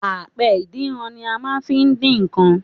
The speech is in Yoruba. Apẹ ìdínran ni a máa n fi dín nkan